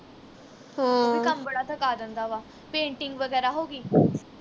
ਉਹ ਵੀ ਕੰਮ ਬੜਾ ਥਕਾ ਦਿੰਦਾ ਵਾ painting ਵਗੈਰਾ ਹੋ ਗਈ